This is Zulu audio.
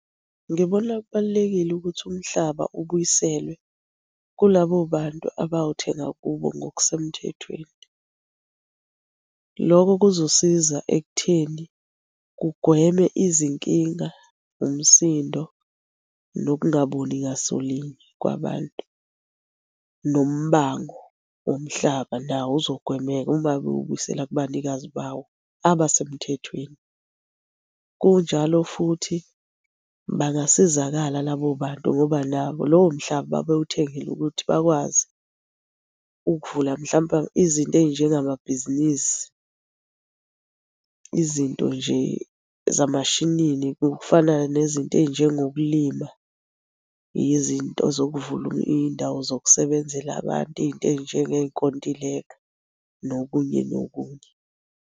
Ngibona kubalulekile ukuthi umhlaba ubuyiselwe kulabo bantu abawuthenga kubo ngokusemthethweni. Lokho kuzosiza ekutheni kugweme izinkinga, umsindo, nokungaboni ngasolinye kwabantu. Nombango womhlaba nawo uzogwemeka uma bewubuyisela kubanikazi bawo abasemthethweni. Kunjalo futhi, bangasizakala labo bantu ngoba nabo lowo mhlaba babewuthengele ukuthi bakwazi ukuvula mhlampe izinto ey'njengamabhizinisi. Izinto nje zamashinini okufana nezinto ey'njengokulima. Yizinto zokuvula iy'ndawo zokusebenzela abantu, iy'nto ey'njengey'nkontileka, nokunye nokunye.